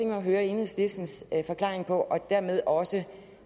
at høre enhedslistens forklaring på og dermed også